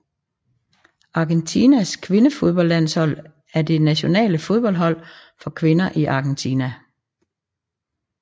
Argentinas kvindefodboldlandshold er det nationale fodboldhold for kvinder i Argentina